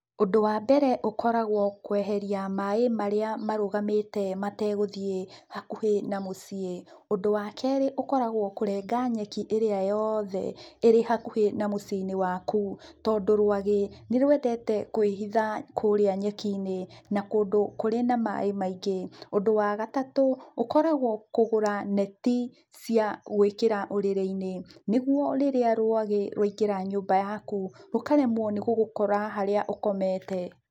Ũndũ wa mbere ũkoragũo kweheria maĩ marĩa marũgamĩte mategũthiĩ, hakuhĩ na mũciĩ. Ũndũ wa kerĩ ũkoragũo kũrenga nyeki ĩrĩa yoothe, ĩrĩ hakuhĩ na mũciĩ-inĩ waku, tondũ rũagĩ, nĩ rũendete kwĩhitha kũrĩa nyeki-inĩ, na kũndũ kũrĩ na maĩ maingĩ. Ũndũ wa gatatũ, ũkoragũo kũgũra neti, cia gũĩkĩra ũrĩrĩ-inĩ, nĩguo rĩrĩa rũagĩ rũaingĩra nyũmba yaku, rũkaremũo nĩ gũgũkora harĩa ũkomete.